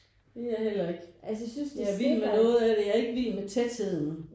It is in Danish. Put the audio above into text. Det er jeg heller ikke jeg er vild med noget af det jeg er ikke vild med tætheden